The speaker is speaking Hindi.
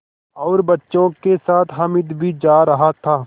और बच्चों के साथ हामिद भी जा रहा था